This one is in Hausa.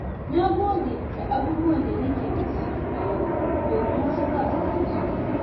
Na gode da abubuwan da nake da su a yau, domin wasu ba su da su.